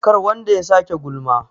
kar wanda ya sake gulma?